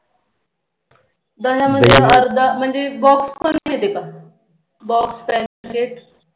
दह्यामध्ये अर्धा म्हणजे Box पण येते का Box Pemplet